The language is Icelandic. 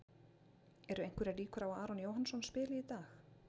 Eru einhverjar líkur á að Aron Jóhannsson spili í dag?